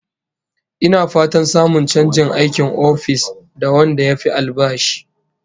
Ina fatan samun chanjin aikin ofis da wanda yafi albashi